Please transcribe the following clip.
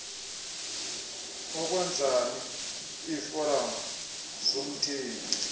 ukwenzani iiforam zomthengi